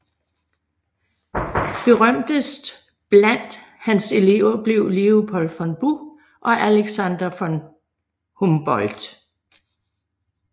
Berømtest blandt hans Elever blev Leopold von Buch og Alexander von Humboldt